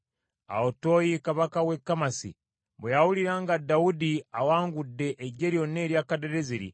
Awo Toyi kabaka w’e Kamasi bwe yawulira nga Dawudi awangudde eggye lyonna erya Kadadezeri,